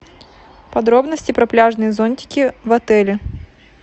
подробности про пляжные зонтики в отеле